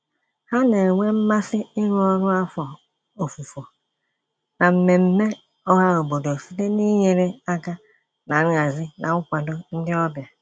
Ha na-enwe mmasị iru ọrụ afọ ofufo na mmemme ọhaobodo site n'inyere aka na nhazi na nkwado ndị ọbịa.